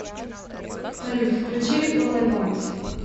салют включи ол ай вонт